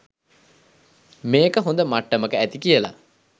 මේක හොද මට්ටමක ඇති කියලා